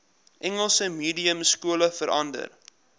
engels mediumskole verander